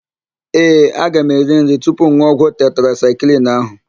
Ee, aga m eri nri tupu m n̄ụọ ọgwụ tetrasaịklin ahụ.